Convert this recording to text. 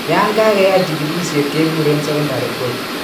Yaan kageyai chigilisiet keguren secondary BOOP